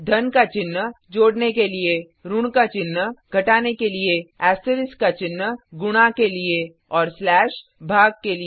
धन का चिन्ह जोडने के लिए ऋण का चिन्ह घटाने के लिए एस्टरिस्क का चिन्ह गुणा के लिए और स्लेश भाग के लिए